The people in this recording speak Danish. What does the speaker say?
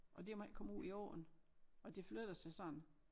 Og det må ikke komme ud i åen og det flytter sig sådan